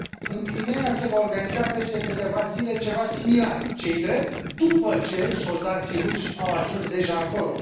În Crimeea, se va organiza peste câteva zile ceva similar, ce i drept, după ce soldații ruși au ajuns deja acolo.